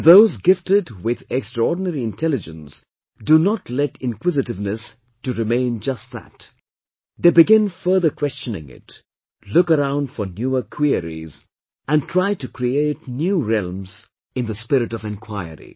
And those gifted with extraordinary intelligence do not let inquisitiveness to remain just that; they begin further questioning it, look around for newer queries, and try to create new realms in the spirit of enquiry